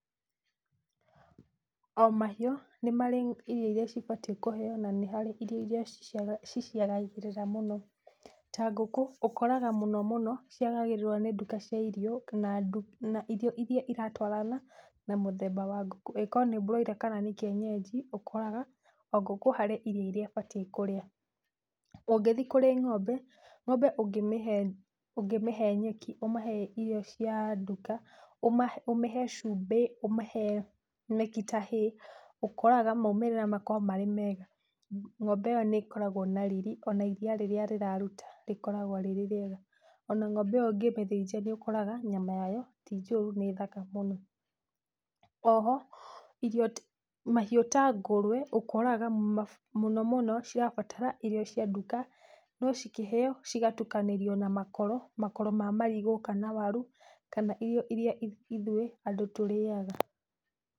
O mahiũ nĩ marĩ irio iria cibatiĩ kũheyo na nĩ harĩ irio iria ciciagagĩrĩra mũno. Ta ngũkũ ũkoraga mũno mũno ciagagĩrĩrwo nĩ irio cia nduka na irio iria iratwarana na mũthemba wa ngũkũ, ĩkorwo nĩ broiler kana nĩ kĩenyenji ũkoragwo ũ ngũkũ harĩ irio ĩria ĩbatĩ kũrĩa. Ũngĩthĩ kũrĩ ng'ombe, ng'ombe ũngĩmĩhe nyeki, ũmĩhe irio cia nduka, ũmĩhe cumbĩ, ũmĩhe nyeki ta hay, ũkoraga maumĩrĩra makoragwo marĩ mega. Ng'ombe ĩyo nĩ ĩkoragwo na rĩrĩ ona ĩriya rĩrĩa rĩraruta rĩkoragwo rĩrĩa rĩega, ona ng'ombe ĩyo ũngĩmĩthĩnja nĩ ũkoraga nyama yayo ti njũru nĩ thaka mũno. Oho mahiũ ta ngũrwe ũkoraga mũno mũno cirabatara irio cia nduka no cikĩheyo cigatukanĩrio na makoro ma marigũ kana mawaru kana irio iria ithuĩ andũ tũrĩyaga.